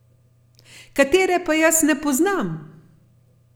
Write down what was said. Katere pa jaz ne poznam!